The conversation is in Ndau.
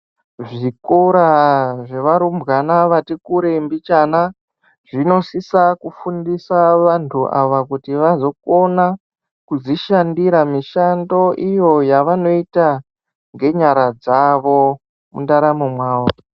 Zvikora zvevarumbwana vati kure mbichana, zvinosisa kufundisa vantu ava kuti vazokona kuzvishandira mishando yavanoita ngenyara dzavo, mundaramo mwavo.